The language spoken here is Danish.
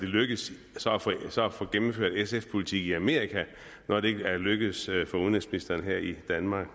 lykkes at få gennemført sfs politik i amerika når det ikke er lykkedes for udenrigsministeren her i danmark